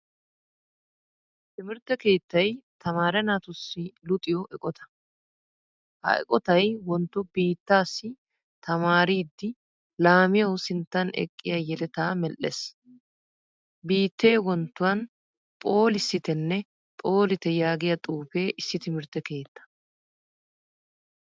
Timirtte keettay tamaaree naatussi luxiyo eqqotta. Ha eqqottay wontto biittasi tamaaridi laamiyaawu sinttan eqqiya yeletta medhdhees. Biitte wonttuwan phooliisittenne phollitte yaagiyaa xuufe issi timirtte keettaa.